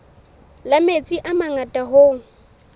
la metsi a mangata hoo